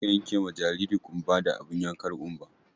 Je ka yenke ma jaririn ƙumba da abin yankar ƙumba!